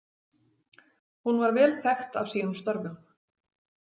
Hún var vel þekkt af sínum störfum.